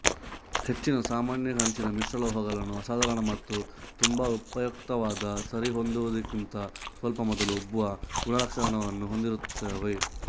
ಹೆಚ್ಚಿನ ಸಾಮಾನ್ಯ ಕಂಚಿನ ಮಿಶ್ರಲೋಹಗಳು ಅಸಾಧಾರಣ ಮತ್ತು ತುಂಬಾ ಉಪಯುಕ್ತವಾದ ಸರಿಹೊಂದುವುದಕ್ಕಿಂತ ಸ್ವಲ್ಪ ಮೊದಲು ಉಬ್ಬುವ ಗುಣಲಕ್ಷಣವನ್ನು ಹೊಂದಿರುತ್ತವೆ